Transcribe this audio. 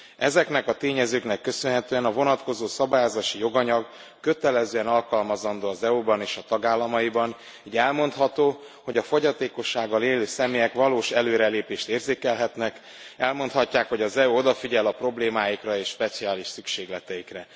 Ezeknek a tényezőknek köszönhetően a vonatkozó szabályozási joganyag kötelezően alkalmazandó az EU ban és a tagállamaiban, így elmondható, hogy a fogyatékossággal élő személyek valós előrelépést érzékelhetnek, elmondhatják, hogy az EU odafigyel a problémáikra és speciális szükségleteikre.